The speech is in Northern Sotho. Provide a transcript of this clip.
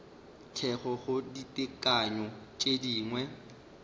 thekgo go ditekanyo tše dingwe